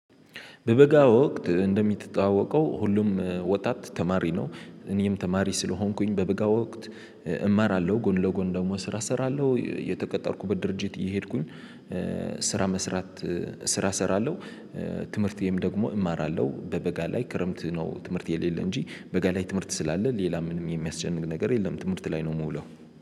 በበጋ ወቅት እንደምትጠዋወቀው ሁሉም ወጣት ተማሪ ነው። እኔም ተማሪ ስለሆንኩኝ በበጋ ወቅት እማራለሁ ጎን ለጎን ደግሞ ስራ እሰራለሁ የተቀጠርኩበት ድርጅት እየሄድኩኝ። ስራ መስራት ስራ እሰራለሁ። ትምህርት ይሄም ደግሞ እማራለሁ በበጋ ላይ ክረምት ነው ትምህርት የሌለ እንጂ በጋላይ ትምህርት ስላለ ሌላ ምንም የሚያስጨንቅ ነገር የለም። ትምህርት ላይ ነው የምውለው።